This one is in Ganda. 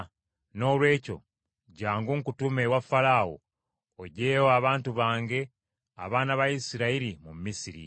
Noolwekyo, jjangu nkutume ewa Falaawo, oggyeyo abantu bange abaana ba Isirayiri mu Misiri.”